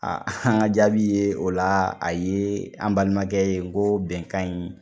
an ka jaabi ye o la a ye an balimakɛ ye n ko bɛnkan in